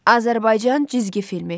Azərbaycan cizgi filmi.